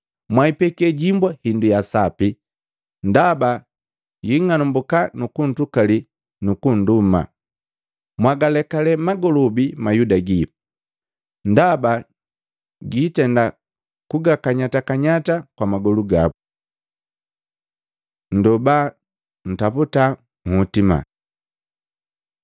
Mwaipeke himbwa hindu ya sapi ndaba yaa nng'anambuka nukuntukali nukunduma. Mwagalekale magolobi mayuda gii ndaba biitenda kukanyatakanyata kwa magolu gabu. Nndoba, ntaputa nhotima Luka 11:9-13